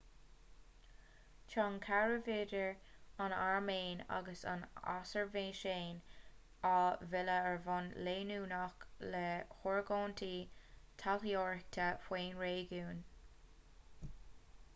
tá an caidreamh idir an airméin agus an asarbaiseáin á mhilleadh ar bhonn leanúnach le hargóintí taidhleoireachta faoin réigiún